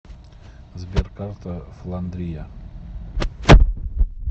сбер карта фландрия